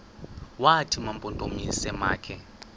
wathi mampondomise makhe